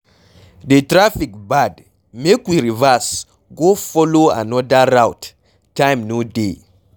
The traffic bad make we reverse go follow another route time no dey.